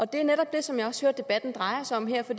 det er netop det som jeg også hører debatten drejer sig om her for